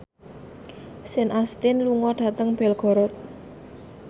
Sean Astin lunga dhateng Belgorod